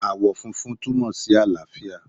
Ààwọ̀ funfun túmọ̀ sí àlàáfíà